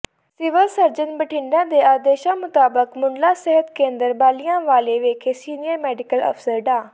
civil surgeon Bathinda ਦੇ ਆਦੇਸ਼ਾਂ ਮੁਤਾਬਕ ਮੁਢਲਾ ਸਿਹਤ ਕੇਂਦਰ ਬਾਲਿਆਂਵਾਲੀ ਵਿਖੇ ਸੀਨੀਅਰ ਮੈਡੀਕਲ ਅਫਸਰ ਡਾ